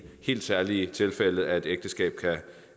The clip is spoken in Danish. helt særlige tilfælde at et ægteskab kan